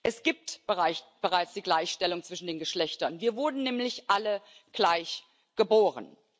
Es gibt bereits die Gleichstellung zwischen den Geschlechtern, wir wurden nämlich alle gleich geboren.